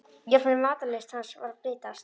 Jafnvel matarlyst hans var að breytast.